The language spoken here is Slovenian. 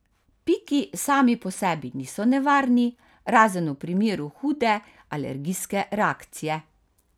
Piki sami po sebi niso nevarni, razen v primeru hude alergijske reakcije.